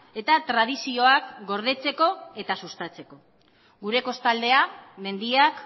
eta tradizioak gordetzeko eta sustatzeko gure kostaldea mendiak